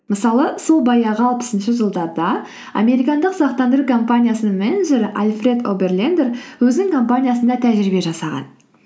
мысалы сол баяғы алпысыншы жылдарда американдық сақтандыру компаниясының менеджері альфред оберлендер өзінің компаниясында тәжірибе жасаған